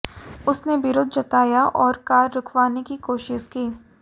उसने विरोध जताया और कार रुकवाने की कोशिश की